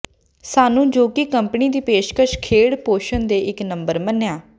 ਸਾਨੂੰ ਜੋ ਕਿ ਕੰਪਨੀ ਦੀ ਪੇਸ਼ਕਸ਼ ਖੇਡ ਪੋਸ਼ਣ ਦੇ ਇੱਕ ਨੰਬਰ ਮੰਨਿਆ